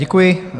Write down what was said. Děkuji.